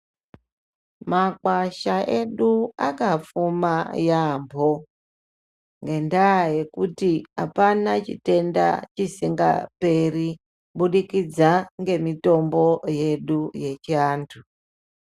Makwasha edu akafoma yaambo ngendaa yekuti apana chitenda chisingaperi kubudikidza ngemutombo yedu yechiantu .